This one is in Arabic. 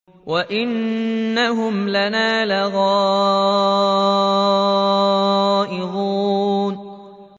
وَإِنَّهُمْ لَنَا لَغَائِظُونَ